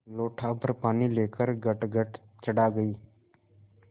लोटाभर पानी लेकर गटगट चढ़ा गई